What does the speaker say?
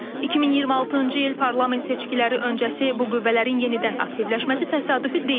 2026-cı il parlament seçkiləri öncəsi bu qüvvələrin yenidən aktivləşməsi təsadüfi deyil.